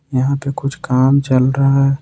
यहां पर कुछ काम चल रहा है।